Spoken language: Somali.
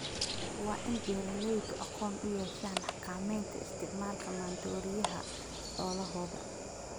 Waa in beeralaydu aqoon u yeeshaan xakamaynta isticmaalka maandooriyaha xoolahooda.